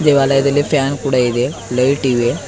ಆಲಯದಲ್ಲಿ ಫ್ಯಾನ್ ಕೂಡ ಇದೆ ಲೈಟ್ ಇವೆ.